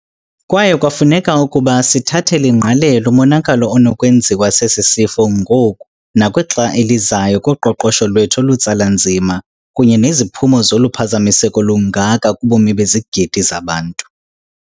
Kwaye kwafuneka ukuba sithathele ingqalelo umonakalo onokwenziwa sesi sifo ngoku nakwixa elizayo kuqoqosho lwethu olutsala nzima kunye neziphumo zoluphazamiseko lungaka kubomi bezigidi zabantu.